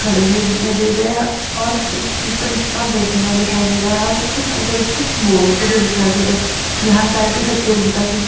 खड़े हुए दिखाई दे रहे है और कुछ टीचर स्टाफ बैठा हुआ दिखाई दे रहा है और कुछ टीचर कुछ बोलते हुए दिखाई दे रहे है। यहां प्रतियोगिता की --